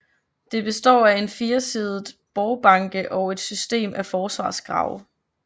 Det består af en firesidet borgbanke og et system af forsvarsgrave